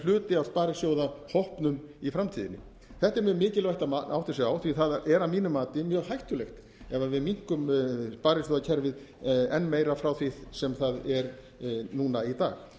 hluti af sparisjóðahópnum í framtíðinni þetta er mjög mikilvægt að átta sig á því það er að mínu mati mjög hættulegt ef við minnkum sparisjóðakerfið enn meira frá því sem það er núna í dag